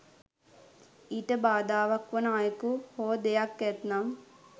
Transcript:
ඊට බාධාවක් වන අයෙකු හෝ දෙයක් ඇත්නම්